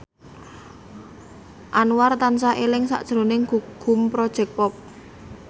Anwar tansah eling sakjroning Gugum Project Pop